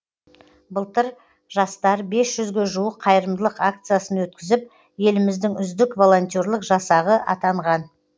былтыр жастар бес жүзге жуық қайырымдылық акциясын өткізіп еліміздің үздік волонтерлік жасағы атанған